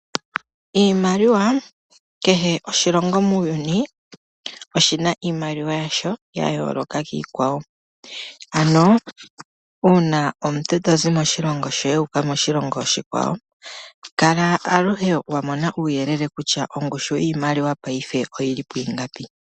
Iimaliwa, kehe oshilongo muuyuni oshina iimaliwa yasho ya yoloka kiikwawo ano una omuntu tozi moshilongo shoye wu uka moshilongo oshikwawo kala aluhe wa mona uuyelele kutya ongushu yiimaliwa paife oyili pwingapi.